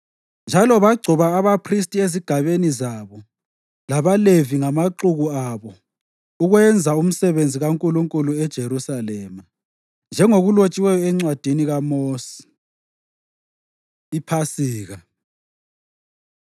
Njalo bagcoba abaphristi ezigabeni zabo labaLevi ngamaxuku abo ukwenza umsebenzi kaNkulunkulu eJerusalema, njengokulotshiweyo eNcwadini kaMosi. IPhasika